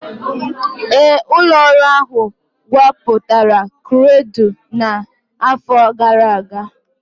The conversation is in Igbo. Ee, ụlọ ọrụ ahụ gwupụtara krudụ n'afọ gara aga.